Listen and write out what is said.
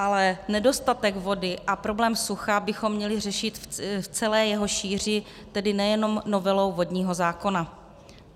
Ale nedostatek vody a problém sucha bychom měli řešit v celé jeho šíři, tedy nejenom novelou vodního zákona.